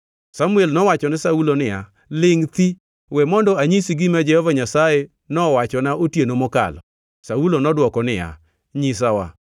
Samuel nowachone Saulo niya, “Lingʼ thi! We mondo anyisi gima Jehova Nyasaye nowachona otieno mokalo.” Saulo nodwoko niya, “Nyisawa.”